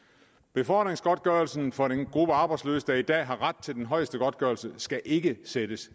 befordringsgodtgørelsen for den gruppe af arbejdsløse der i dag har ret til den højeste godtgørelse skal ikke sættes